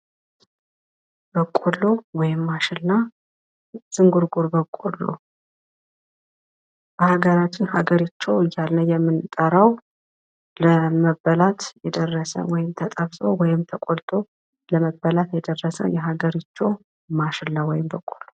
በቆሎ ወይም ማሽላ ዝንጉርጉር በቆሎ በሃገራችን ሀገርቾ እያልን የምንጠራው ለመበላይ የደርሰ ወይም ተጠብሶ ወይም ተቆልቶ ለመበላት የደረሰ የሃገርቾ ማሽላ ወይም በቆሎ ።